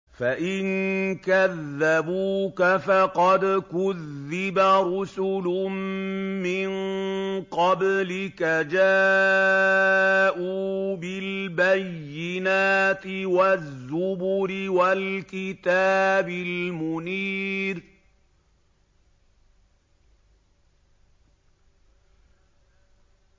فَإِن كَذَّبُوكَ فَقَدْ كُذِّبَ رُسُلٌ مِّن قَبْلِكَ جَاءُوا بِالْبَيِّنَاتِ وَالزُّبُرِ وَالْكِتَابِ الْمُنِيرِ